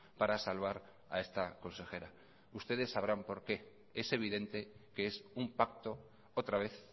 para salvar a esta consejera ustedes sabrán por qué es evidente que es un pacto otra vez